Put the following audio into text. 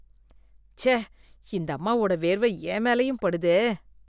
ச்சே இந்தம்மாவோட வேர்வை என் மேலயும் படுதே.